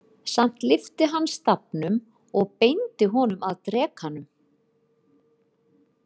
Samt lyfti hann stafnum og beindi honum að drekanum.